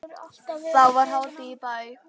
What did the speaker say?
Þá var hátíð í bæ.